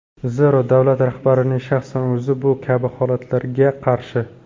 Zero davlat rahbarining shaxsan o‘zi bu kabi holatlarga qarshi.